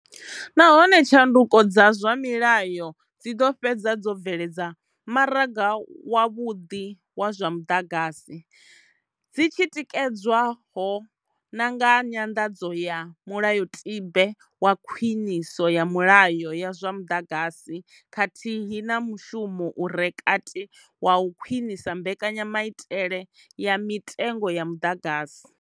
Nahone tshanduko dza zwa milayo dzi ḓo fhedza dzo bveledza maraga wavhuḓi wa zwa muḓagasi, dzi tshi tikedzwa ho na nga nyanḓadzo ya mulayotibe wa khwiniso ya milayo ya zwa muḓagasi khathihi na nga mushumo u re kati wa u khwinisa mbekanyamaitele ya mitengo ya muḓagasi.